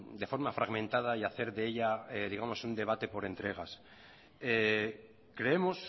de forma fragmentada y hacer de ella digamos un debate por entregas creemos